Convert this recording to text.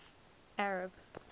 arab